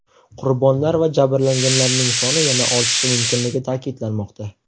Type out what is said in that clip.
Qurbonlar va jabrlanganlarning soni yana ortishi mumkinligi ta’kidlanmoqda.